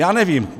Já nevím.